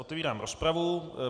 Otevírám rozpravu.